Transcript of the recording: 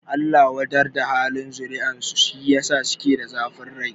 Allah wadar da halin zuriyar su, shi yasa suke da zafin rai